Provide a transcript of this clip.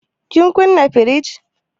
Kin kuna firij?